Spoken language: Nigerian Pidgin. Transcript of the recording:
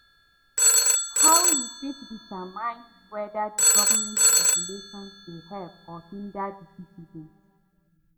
how you fit determine whether di government regulation dey help or hinder di citizens?